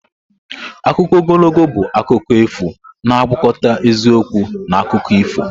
Akụkọ ogologo bụ akụkọ efu na-agwakọta eziokwu na akụkọ ifo.